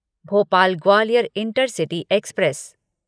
Bhopal Gwalior intercity express